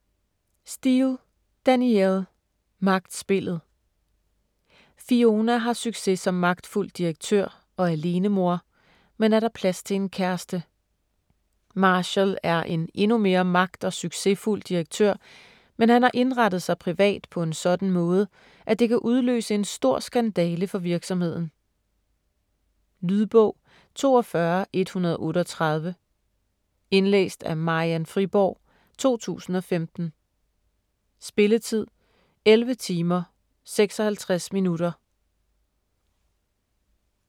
Steel, Danielle: Magtspillet Fiona har succes som magtfuld direktør og alenemor, men er der plads til en kæreste? Marshall er en endnu mere magt- og succesfuld direktør, men han har indrettet sig privat på en sådan måde, at det kan udløse en stor skandale for virksomheden. Lydbog 42138 Indlæst af Marian Friborg, 2015. Spilletid: 11 timer, 56 minutter.